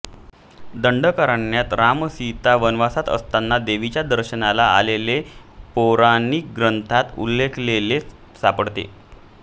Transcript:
दंडकारण्यात रामसीता वनवासात असताना देवीच्या दर्शनाला आल्याचे पौराणिक ग्रंथात उल्लेखलेले सापडते